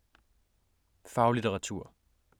Faglitteratur